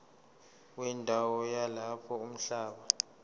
wendawo yalapho umhlaba